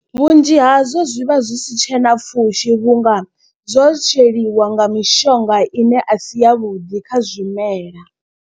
Vhunzhi hazwo zwi vha zwi si tshena pfhushi vhunga zwo tsweliwa nga mishonga ine a si yavhuḓi kha zwimela.